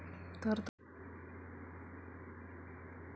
...तर तुमच्या पैशातून निवडणुका घ्या, खडसेंचा पक्षाला घरचा आहेर